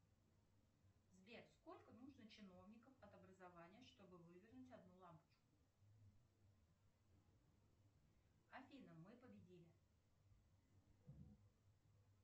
сбер сколько нужно чиновников от образования чтобы вывернуть одну лампочку афина мы победили